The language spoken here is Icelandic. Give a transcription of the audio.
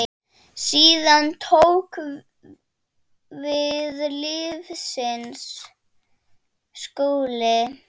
Síðan tók við lífsins skóli.